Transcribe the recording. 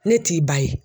Ne t'i ba ye